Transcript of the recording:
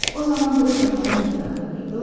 O zaman Qreta xala mətbəxdə peyda olur.